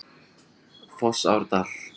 Fossárdal